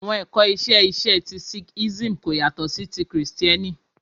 Awọn ẹkọ iṣe iṣe ti sikhism ko yatọ si Kristiẹniti